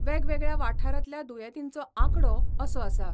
वेगवेगळ्या वाठारातल्या दुयेतींचो आकडो असो आसा.